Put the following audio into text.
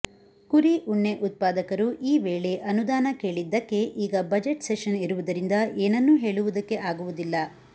ಕುರಿ ಉಣ್ಣೆ ಉತ್ಪಾದಕರು ಈ ವೇಳೆ ಅನುದಾನ ಕೇಳಿದ್ದಕ್ಕೆ ಈಗ ಬಜೆಟ್ ಸೆಷನ್ ಇರುವುದರಿಂದ ಏನನ್ನೂ ಹೇಳುವುದಕ್ಕೆ ಆಗುವುದಿಲ್ಲ